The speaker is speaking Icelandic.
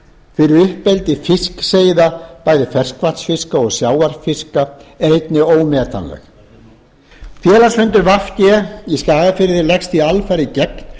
fyrir uppeldi fiskseiða bæði ferskvatnsfiska og sjávarfiska er einnig ómetanleg félagsfundur v g í skagafirði leggst því alfarið gegn